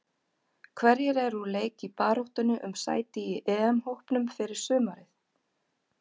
Hverjir eru úr leik í baráttunni um sæti í EM-hópnum fyrir sumarið?